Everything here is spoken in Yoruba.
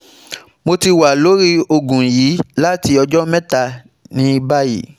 Mo ti wa lori oogun yii lati ọjọ mẹta ni bayi